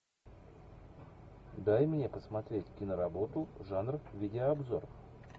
дай мне посмотреть киноработу жанр видеообзор